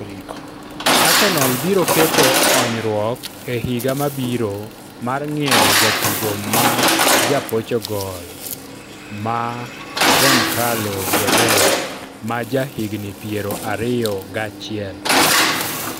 Arsenal biro keto onyruok e higa mabiro mar ng'iewo jatugo ma ja Portugal ma go Goncalo Guedes, ma ja higni piero ariyo gachiel.